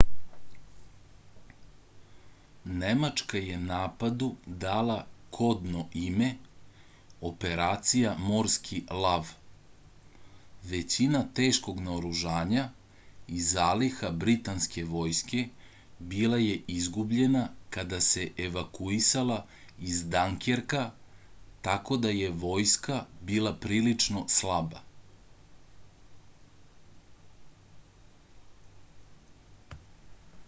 nemačka je napadu dala kodno ime operacija morski lav većina teškog naoružanja i zaliha britanske vojske bila je izgubljena kada se evakuisala iz denkerka tako da je vojska bila prilično slaba